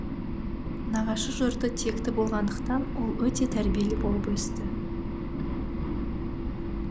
нағашы жұрты текті болғандықтан ол өте тәрбиелі болып өсті